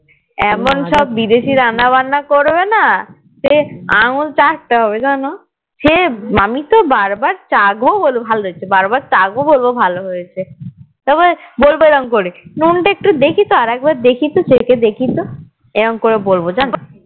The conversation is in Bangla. সে আঙ্গুল চাটতে তে হবে জানো সে আমি তো বারবার চাখব বলবো ভালোই তো বার বার চাখব বলবো ভালোই তো তবে বলবো এরম করে নুন টা একটু দেখি তো আর একবার দেখিতো চেকে দেখি এরম করে বলবো জানো